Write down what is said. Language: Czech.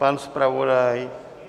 Pan zpravodaj?